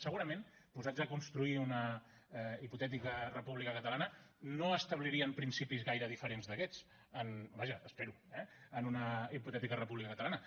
segurament posats a construir una hipotètica república catalana no establirien principis gaire diferents d’aquests vaja espero eh en una hipotètica república catalana